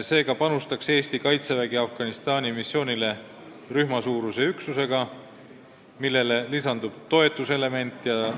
Eesti Kaitsevägi saadaks Afganistani missioonile rühmasuuruse üksuse, millele lisandub toetuselement ja